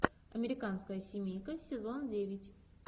американская семейка сезон девять